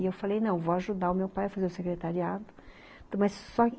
E eu falei, não, vou ajudar o meu pai a fazer o secretariado, mas só que